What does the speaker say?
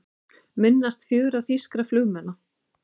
Minnast fjögurra þýskra flugmanna